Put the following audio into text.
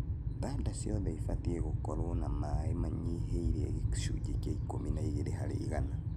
Thanda ciothe cibatie gũkorwo na maĩ manyihĩire gĩcunji kĩa ikũmi na igĩrĩ harĩ igana.